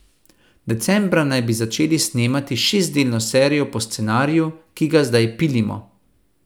Decembra naj bi začeli snemati šestdelno serijo po scenariju, ki ga zdaj pilimo.